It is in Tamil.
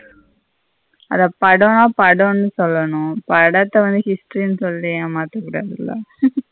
அத படம்ன படன்னு சொல்லணும் படத்த வந்து history ன்னு சொல்லிட்டு ஏமாத்தகூடாதல்ல.